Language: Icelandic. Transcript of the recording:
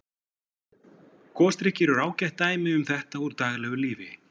Gosdrykkir eru ágætt dæmi um þetta úr daglegu lífi.